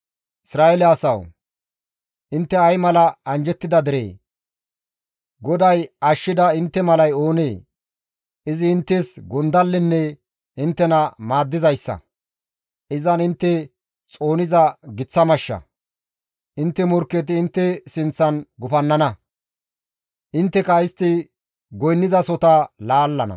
Isra7eele asawu! Intte ay mala anjjettida deree! GODAY ashshida intte malay oonee? Izi inttes gondallenne inttena maaddizayssa; izan intte xooniza giththa mashsha; intte morkketi intte sinththan gufannana; intteka istti goynnizasota laallana.